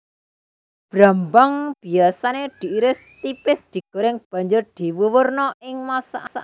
Brambang biyasané diiris tipis digoreng banjur diwuwurna ing masakan